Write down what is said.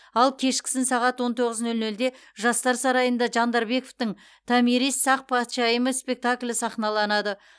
ал кешкісін сағат он тоғыз нөл нөлде жастар сарайында жандарбековтің томирис сақ патшайымы спектаклі сахналанады